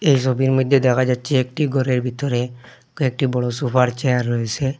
এই ছবির মইধ্যে দেখা যাচ্ছে একটি ঘরের ভিতরে কয়েকটি বড়ো সোফার চেয়ার রয়েছে।